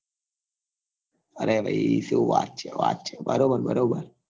અરે ભાઈ શું વાત છે વાત છે બરોબર બરોબર